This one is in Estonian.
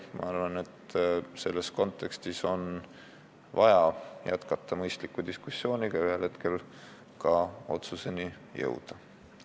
Minu arvates on vaja jätkata mõistlikku diskussiooni ja ühel hetkel ka otsuseni jõuda.